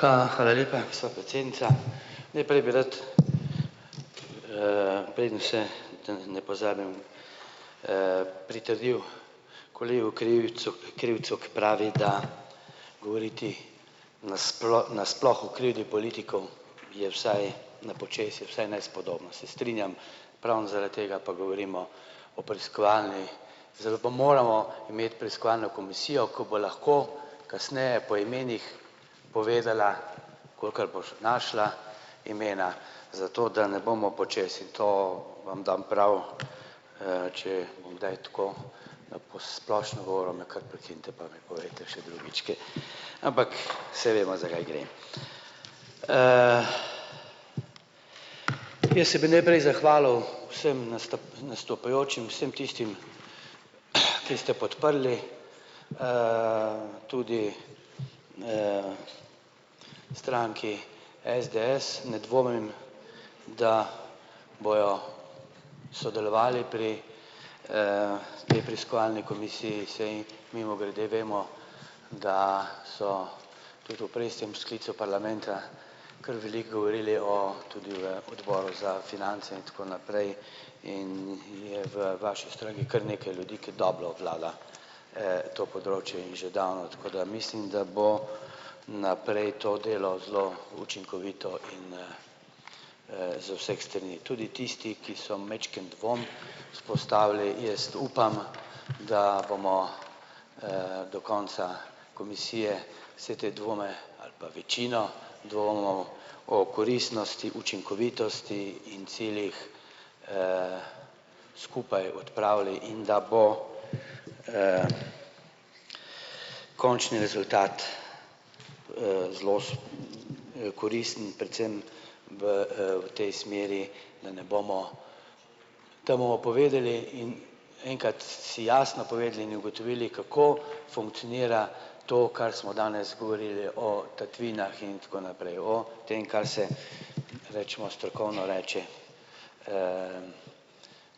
hvala lepa, gospa predsednica. Najprej bi rad, preden se ne pozabim, pritrdil kolegi Krivicu Krivcu, ki pravi, da govoriti nasploh o krivdi politikov je vsaj na počez je vsaj nespodobno, se strinjam, ravno zaradi tega pa govorimo o preiskovalni, zato pa moramo imeti preiskovalno komisijo, ko bo lahko kasneje po imenih povedala, kolikor boš našla imena, zato da ne bomo počez, in to vam dam prav, če bom kdaj tako na po splošno govoril, me kar prekinite pa mi povejte še drugič ampak saj vemo, za kaj gre. Jaz se bi najprej zahvalil vsem nastopajočim, vsem tistim, ki ste podprli, tudi, stranki SDS ne dvomim, da bojo sodelovali pri, potem preiskovalni komisiji, saj mimogrede vemo, da so tudi v prejšnjem sklicu parlamenta kar veliko govorili o tudi v odboru za finance in tako naprej in je v vaši stranki kar nekaj ljudi, ki dobro obvladajo, to področje in že davno, tako da mislim, da bo naprej to delo zelo učinkovito in, z vseh strani. Tudi tisti, ki so majčkeno dvom vzpostavili, jaz upam, da bomo, do konca komisije vse te dvome ali pa večino dvomov o koristnosti, učinkovitosti in ciljih, skupaj odpravili in da bo, končni rezultat, zelo koristen predvsem v, v tej smeri, da ne bomo, to bomo povedali in enkrat si jasno povedali in ugotovili, kako funkcionira to, kar smo danes govorili o tatvinah in tako naprej, o tem, kar se recimo strokovno reče,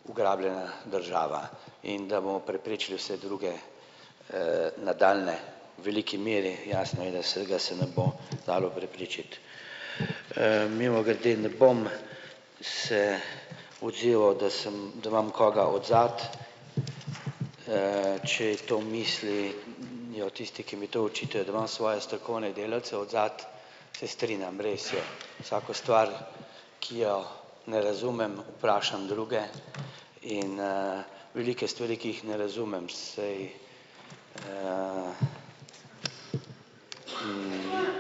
ugrabljena država in da bomo preprečili vse druge, nadaljnje. V veliki meri jasno je, da se ga se ne bo dalo preprečiti. Mimogrede, ne bom se odzival, da sem da imam koga odzadaj, če to misli, je o tisti, ki mi to očitajo, da imam svoje strokovne delavce odzadaj, se strinjam, res je, vsako stvar, ki jo ne razumem, vprašam druge in, veliko je stvari, ki jih ne razumem, saj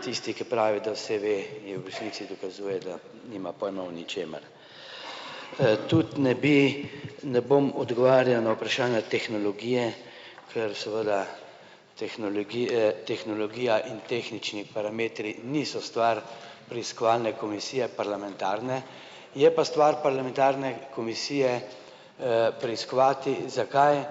tisti, ki pravi, da vse ve, je v resnici dokazuje, da nima pojma o ničemer. Tudi ne bi ne bom odgovarjal na vprašanja tehnologije, ker seveda tehnologije, tehnologija in tehnični parametri niso stvar preiskovalne komisije parlamentarne, je pa stvar parlamentarne komisije, preiskovati, zakaj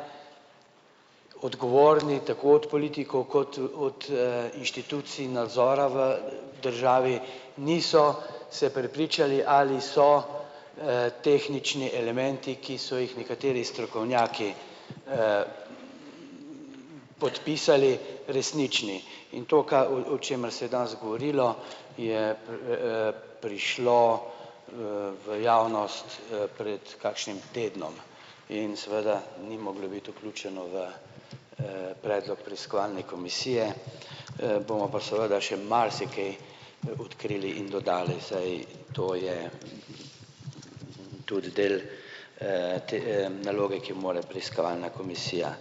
odgovorni tako od politikov kot od, inštitucij nadzora v državi niso se prepričali, ali so, tehnični elementi, ki so jih nekateri strokovnjaki, podpisali resnični in to, v v čemer se je danes govorilo, je prišlo, v javnost, pred kakšnim tednom in seveda ni moglo biti vključeno v, predlog preiskovalne komisije, bomo pa seveda še marsikaj, odkrili in dodali, saj to je tudi del, te, naloge, ki mora preiskovalna komisija.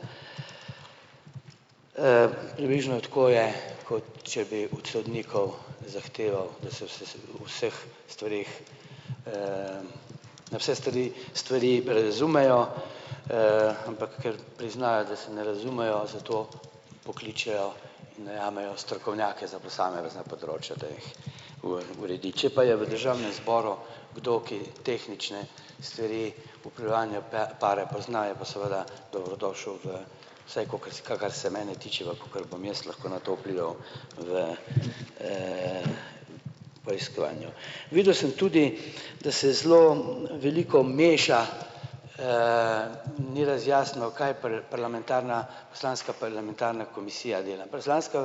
Približno tako je, kot če bi od sodnikov zahteval, da se vseh stvareh, na vse strani stvari razumejo, ampak ker priznajo, da se ne razumejo, zato pokličejo, najamejo strokovnjake za posamezna področja, da jih uredi. Če pa je v državnem zboru kdo, ki tehnične stvari pokrivanju pare poznajo, pa seveda dobrodošel v, saj kakor se kor se mene tiče pa kakor bom jaz lahko na to vplival v, preiskovanju. Videl sem tudi, da se zelo veliko meša, ni razjasnjeno, kaj parlamentarna poslanska parlamentarna komisija dela, poslansko,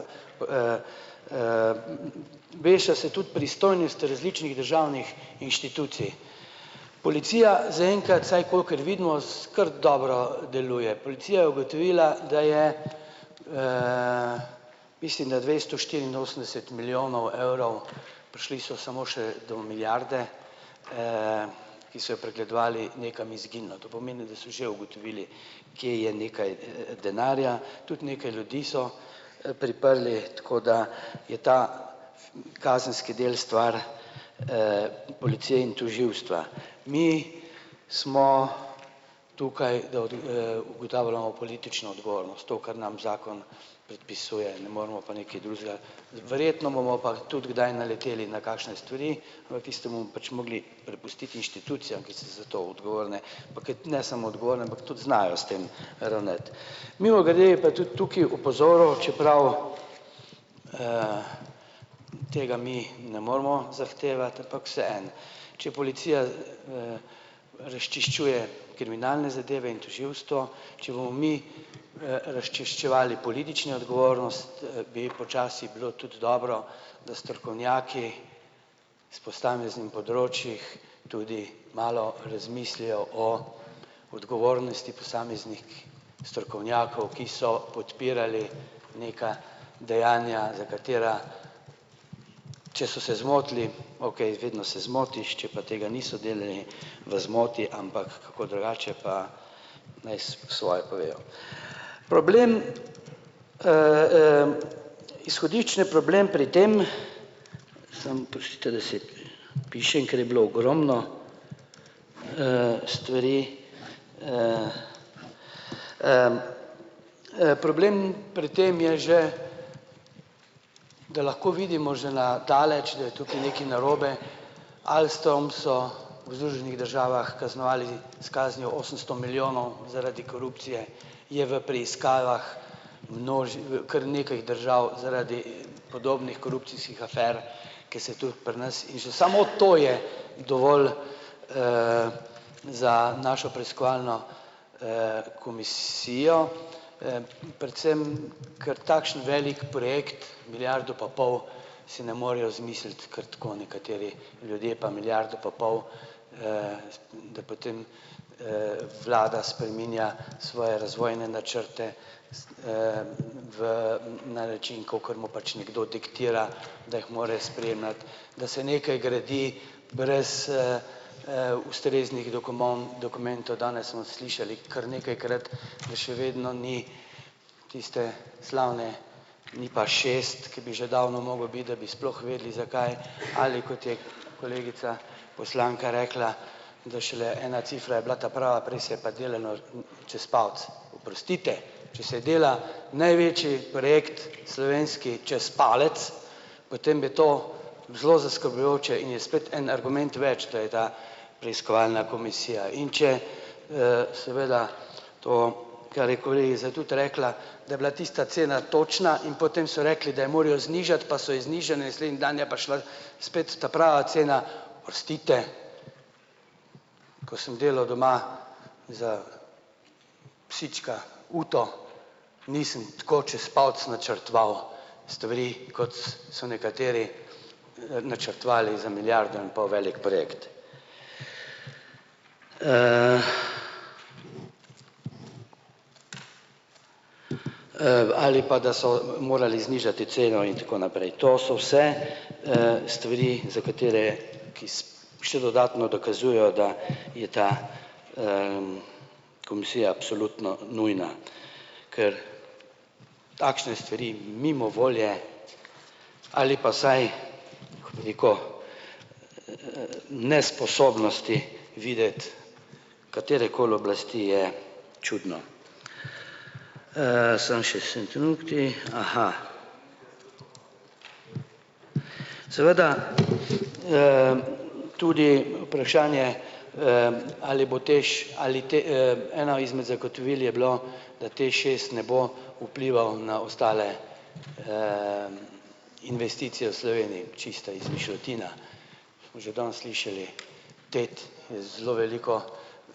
meša se tudi pristojnost različnih državnih inštitucij. Policija zaenkrat, vsaj kolikor vidimo, kar dobro deluje. Policija je ugotovila, da je, mislim, da dvesto štiriinosemdeset milijonov evrov, prišli so samo še do milijarde, ki so jo pregledovali, nekam izginilo, to pomeni, da so že ugotovili, kje je nekaj, denarja, tudi nekaj ljudi so, priprli, tako da je ta kazenski del stvar, policije in tožilstva. Mi smo tukaj, da ugotavljamo politično odgovornost, to, kar nam zakon predpisuje, ne moremo pa nekaj drugega, verjetno bomo pa tudi kdaj naleteli na kakšne stvari, v tistem bomo pač mogli prepustiti inštitucijam, ki so za to odgovorne, pa kot ne samo odgovorne, ampak tudi znajo s tem ravnati. Mimogrede je pa tudi tukaj opozoril, čeprav, tega mi ne moremo zahtevati, ampak vseeno, če policija, razčiščuje kriminalne zadeve in tožilstvo, če bomo mi, razčiščevali politično odgovornost, bi počasi bilo tudi dobro, da strokovnjaki s posameznih področjih tudi malo razmislijo o odgovornosti posameznih strokovnjakov, ki so podpirali neka dejanja, za katera če so se zmotili, okej, vedno se zmotiš, če pa tega niso delali v zmoti, ampak kako drugače, pa naj svoje povejo. Problem, izhodiščni problem pri tem, pišem, ker je bilo ogromno, stvari, problem pri tem je že, da lahko vidimo že na daleč, da je tukaj nekaj narobe, ali s tem so v Združenih državah kaznovali s kaznijo osemsto milijonov. Zaradi korupcije je v preiskavah kar nekaj držav zaradi podobnih korupcijskih afer, ker se tudi pri nas in že samo to je dovolj, za našo preiskovalno, komisijo, predvsem ker takšen velik projekt, milijardo pa pol si ne morejo izmisliti kar tako, nekateri ljudje pa milijardo pa pol, da potem, vlada spreminja svoje razvojne načrte v na način, kakor mu pač nekdo diktira, da jih mora spremljati, da se nekaj gradi brez, ustreznih dokumentov. Danes smo slišali kar nekajkrat, da še vedno ni tistega slavnega NIP-a šest, ki bi že davno mogel biti, da bi sploh vedeli, zakaj, ali kot je kolegica poslanka rekla, da šele ena cifra je bila ta prava, prej se je pa delalo čez palec. Oprostite, če se dela največji projekt slovenski čez palec, potem je to zelo zaskrbljujoče in je spet en argument več, da je ta preiskovalna komisija, in če v seveda to, kar je kolegica tudi rekla, da je bila tista cena točna, in potem so rekli, da jo morajo znižati, pa so jo znižali, naslednji dan je pa šla spet ta prava cena. Oprostite, ko sem delal doma za psička uto, nisem tako čas palec načrtoval stvari, kot so nekateri, načrtovali za milijardo in pol velik projekt. Ali pa da so morali znižati ceno in tako naprej. To so vse, stvari, za katere je še dodatno dokazujejo, da je ta, komisija absolutno nujna, ker takšne stvari mimo volje ali pa vsaj, bi rekel, nesposobnosti videti katerekoli oblasti, je čudno. Samo še, aha. Seveda, tudi vprašanje, ali bo TEŠ ali eno izmed zagotovil je bilo, da TEŠ šest ne bo vplival na ostale, investicije v Sloveniji. Čista izmišljotina. Smo že danes slišali tet je zelo velika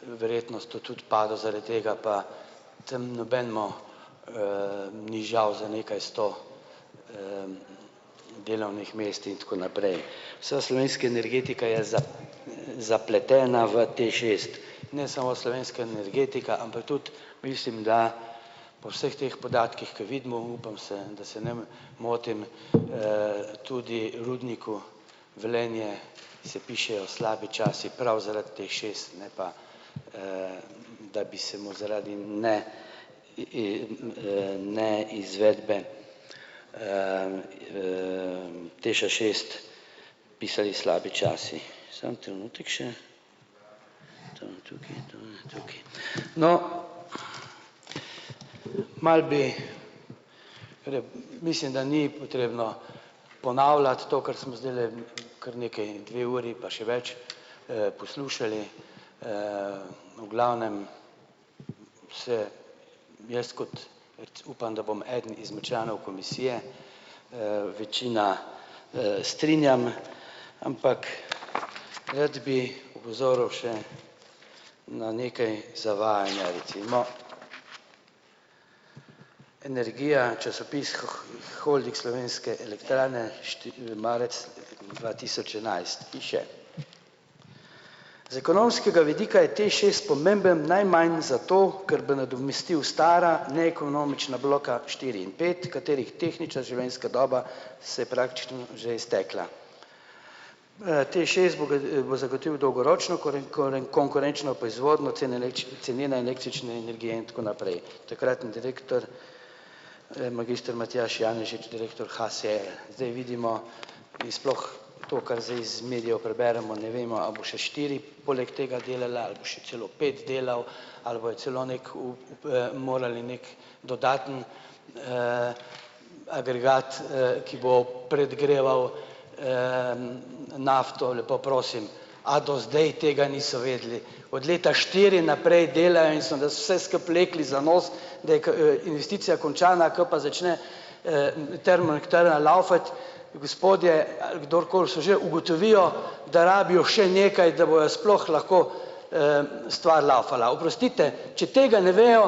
verjetnost tu tudi pada zaradi tega, pa tam nobenemu, ni žal za nekaj sto, delovnih mest in tako naprej. Vsa slovenska energetika je zapletena v TEŠ šest, ne samo slovenska energetika, ampak tudi mislim, da po vseh teh podatkih, ker vidimo, upam, se da se ne motim, tudi rudniku Velenje se pišejo slabi časi prav zaradi TEŠ šest, ne pa, da bi se mu zaradi, ne, in, ne, izvedbe, TEŠ-a šest pisali slabi časi. Samo trenutek še. To imam tukaj, to tukaj. No, malo bi mislim, da ni potrebno ponavljati to, kar sem zdajle kar nekaj dve uri pa še več, poslušali, v glavnem se jaz kot upam, da bom eden izmed članov komisije, večina, strinjam, ampak rad bi opozoril še na nekaj zavajanja recimo. Energija, časopis Holdinga Slovenske elektrarne marec dva tisoč enajst piše: "Z ekonomskega vidika je TEŠ šest pomemben najmanj zato, ker da nadomestil stara neekonomična bloka štiri in pet, katerih tehnična življenjska doba se je praktično že iztekla. TEŠ šest bo zagotovil dolgoročno konkurenčno proizvodnjo cene cenene električne energije in tako naprej." Takratni direktor, magister Matjaž Janežič, direktor HSE, zdaj vidimo in sploh to, kar zdaj iz medijev preberemo, ne vemo, a bo še štiri poleg tega delal ali bo še celo pet delal ali bojo celo neke morali neki dodaten, agregat, ki bo predgreval, nafto, lepo prosim, a do zdaj tega niso vedeli? Od leta štiri naprej delajo in so nas se skupaj vlekli za nos, da je investicija končana, ko pa začne, termoelektrarna lavfati, gospodje ali kdorkoli so že, ugotovijo, da rabijo še nekaj, da bo sploh lahko, stvar lavfala. Oprostite, če tega ne vejo,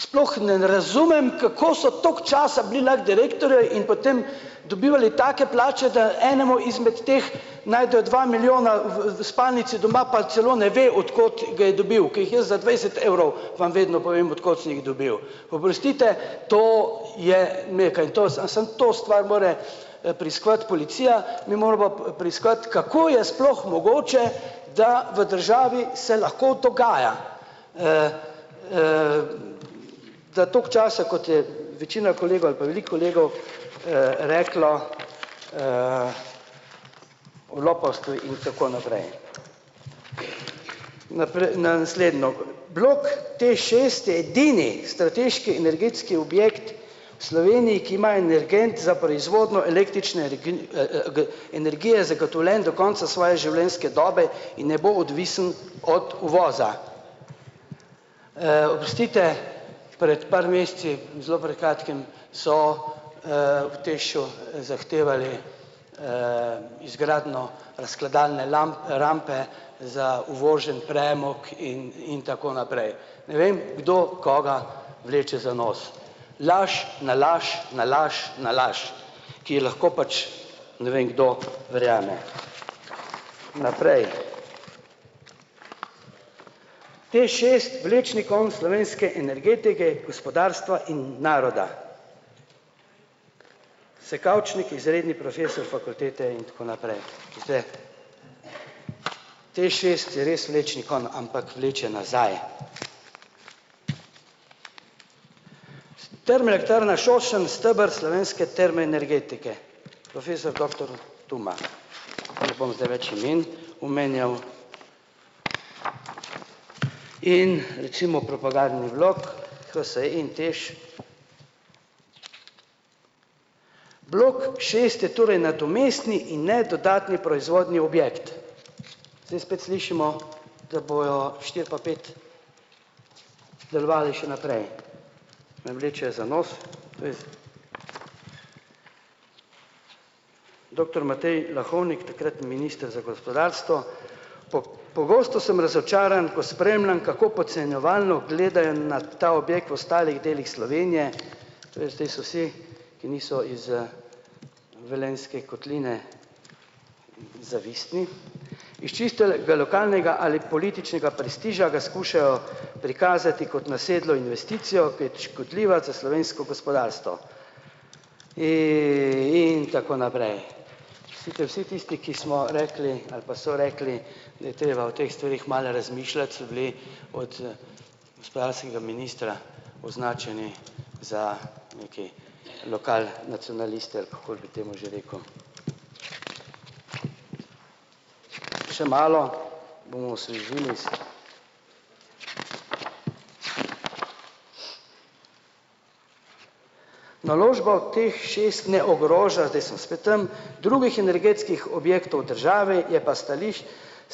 sploh ne razumem, kako so toliko časa bili lahko direktorji in potem dobivali take plače, da enemu izmed teh najdejo dva milijona v v spalnici doma pa celo ne ve, od kod ga je dobil, ki jih jaz za dvajset evrov vam vedno povem, od kod sem jih dobil. Oprostite, to je nekaj, to samo samo to stvar mora, preiskovati policija, ne moremo preiskovati, kako je sploh mogoče, da v državi se lahko dogaja, da toliko časa, kot je večina kolegov ali pa veliko kolegov, reklo, o lopovstvu in tako naprej. na naslednjo blok TEŠ šest je edini strateški energetski objekt v Sloveniji, ki ima energent za proizvodnjo električne energije zagotovljen do konca svoje življenjske dobe in ne bom odvisen od uvoza. Oprostite, pred par meseci, zelo pred kratkim, so, v TEŠ-u zahtevali, izgradnjo razkladalne rampe za uvoženi premog in in tako naprej, ne vem, kdo koga vleče za nos. Laž na laž na laž na laž, ki lahko pač ne vem kdo verjame. Naprej. TEŠ šest vlečni konec slovenske energetike in gospodarstva in naroda. Se Kavčnik izredni profesor fakultete in tako naprej. TEŠ šest je res vlečni konj, ampak vleče nazaj. "Termoelektrarna Šoštanj steber slovenske termoenergetike", profesor doktor Tumah, ne bom zdaj več imen omenjal in recimo propagandnih vlog HSE in TEŠ. Blok šest je torej nadomestni in ne dodatni proizvodni objekt. Zdaj spet slišimo, da bojo štiri pa pet delovali še naprej, me vlečejo za nos. Doktor Matej Lahovnik, takratni minister za gospodarstvo: pogosto sem razočaran, ko spremljam, kako podcenjevalno gledajo na ta objekt v ostalih delih Slovenije, tule zdaj so vsi, ki niso iz, Velenjske kotline, zavistni. Iz čistega lokalnega ali političnega prestiža ga skušajo prikazati kot nasedlo investicijo, ki je škodljiva za slovensko gospodarstvo." In in tako naprej. Oprostite vsi tisti, ki smo rekli ali pa so rekli, da je treba o teh stvareh malo razmišljati, so bili od, gospodarskega ministra označeni za nekaj lokal nacionaliste, ali kako bi temu že rekel. Še malo. Naložba v TEŠ šest ne ogroža, zdaj sem spet tam, drugih energetskih objektov države, je pa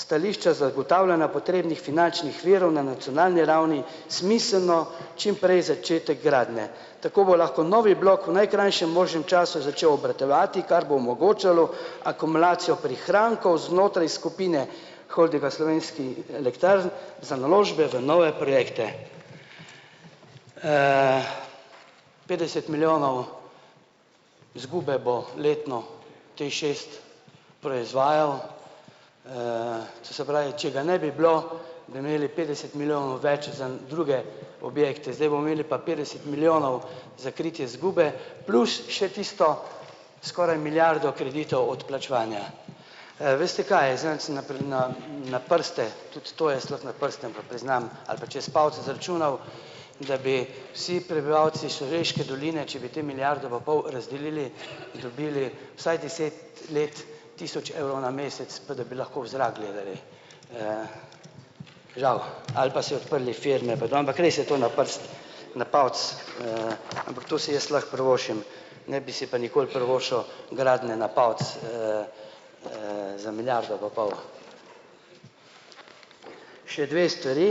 stališča zagotavljanja potrebnih finančnih virov na nacionalni ravni smiseln čimprej začetek gradnje, tako bo lahko novi blok v najkrajšem možnem času začel obratovati, kar bo omogočalo akumulacijo prihrankov znotraj skupine Holdinga Slovenskih elektrarn za naložbe v nove projekte. Petdeset milijonov izgube bo letno TEŠ šest proizvajal, to se pravi, če ga ne bi bilo, bi imeli petdeset milijonov več za druge objekte. Zdaj bomo imeli pa petdeset milijonov za kritje izgube plus še tisto skoraj milijardo kreditov odplačevanja. Veste kaj, zadnjič sem na na na prste, tudi to jaz lahko na prste, ampak priznam ali pa čez palce izračunal, da bi vsi prebivalci Šaleške doline, če bi te milijardo pa pol razdelili, dobili vsaj deset let tisoč evrov na mesec, pa da bi lahko v zrak gledali. Žal, ali pa si odprli firme, ampak res je to na prste, na palec, ampak to si jaz lahko privoščim ne bi si pa nikoli privoščil gradnje na palec, za milijardo pa pol. Še dve stvari.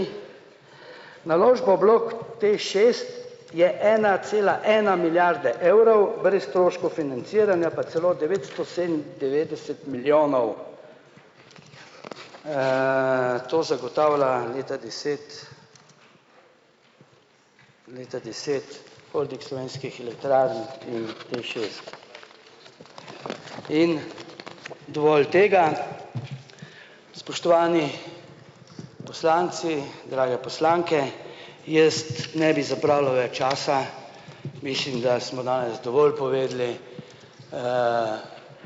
Naložba v bloku TEŠ šest je ena cela ena milijarde evrov, brez stroškov financiranja pa celo devetsto sedemindevetdeset milijonov, to zagotavlja leta deset, leta deset Holding Slovenskih elektrarn in TEŠ šest. In dovolj tega. Spoštovani poslanci, drage poslanke, jaz ne bi zapravljal več časa, mislim, da smo danes dovolj povedali,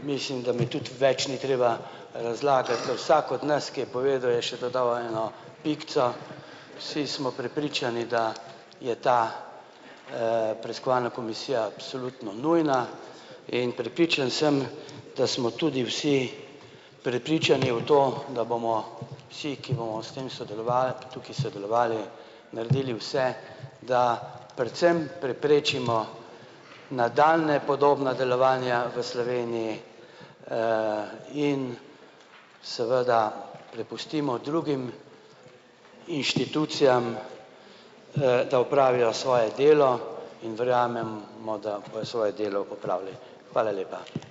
mislim, da mi tudi več ni treba razlagati, da vsak od nas, ki je povedal, je še dodal eno pikico, vsi smo prepričani, da je ta, preiskovalna komisija absolutno nujna in prepričan sem, da smo tudi vsi prepričani v to, da bomo vsi, ki bomo s tem sodelovali tukaj, sodelovali, naredili vse, da predvsem preprečimo nadaljnja podobna delovanja v Sloveniji, in seveda prepustimo drugim inštitucijam, da opravijo svoje delo, in verjamem mo, da bojo svoje delo opravili. Hvala lepa.